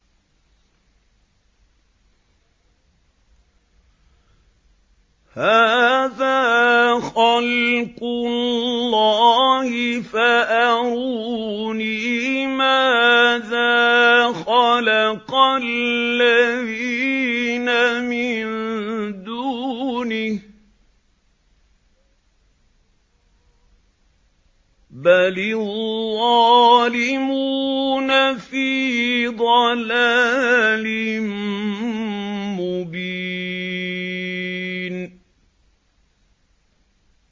هَٰذَا خَلْقُ اللَّهِ فَأَرُونِي مَاذَا خَلَقَ الَّذِينَ مِن دُونِهِ ۚ بَلِ الظَّالِمُونَ فِي ضَلَالٍ مُّبِينٍ